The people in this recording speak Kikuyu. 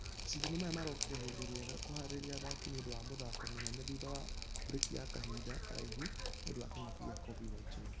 Mashidano maya marokire ihinda riega kũharĩria athaki nĩũndũ wa mĩthako mĩnene thutha wa breki ya kahinda karaihu nĩũndũ wa kĩng'uki gĩa covid-19.